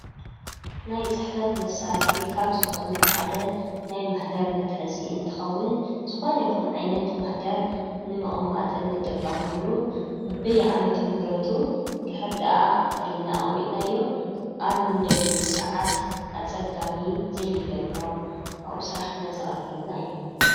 ናይ ጽሕፈት መሣር ኻብ ዝኾኑ ሓደ ናይ ማኅደር መትሐዚይ እንትኸውን ዝኾን ይኹን ዓይነት ማኅደር ንመቐማጥን ጠቀመሉ ብብይ ዓመቶምህረቱ ድኅር ድኣ ፈሊና ኣሚጥናዮ ኣብ ንደልሉ ሰዓት ኣጸጋሚ ዘይገብሮ ኣው ሥራሕና ዘቐለልና እዩ።